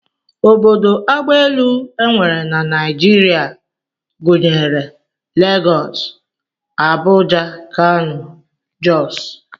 Obodo agbaelu e nwere na Naijiria gụnyere Legọs, Abuja, Kano, Jọs